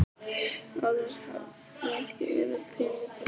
Áður hafði ekki verið tími til þess.